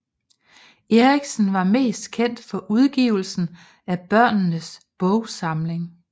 Erichsen var mest kendt for udgivelsen af Børnenes Bogsamling